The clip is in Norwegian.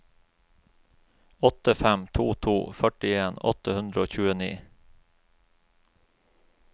åtte fem to to førtien åtte hundre og tjueni